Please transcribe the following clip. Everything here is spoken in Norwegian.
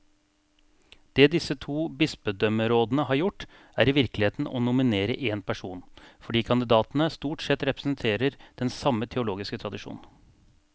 Det disse to bispedømmerådene har gjort, er i virkeligheten å nominere én person, fordi kandidatene stort sett representerer den samme teologiske tradisjon.